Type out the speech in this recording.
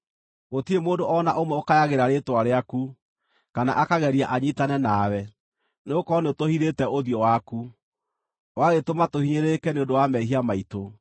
Gũtirĩ mũndũ o na ũmwe ũkayagĩra rĩĩtwa rĩaku, kana akageria anyiitane nawe; nĩgũkorwo nĩũtũhithĩte ũthiũ waku, ũgagĩtũma tũhinyĩrĩrĩke nĩ ũndũ wa mehia maitũ.